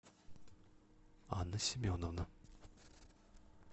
анна семеновна